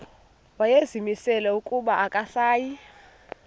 wayezimisele ukuba akasayi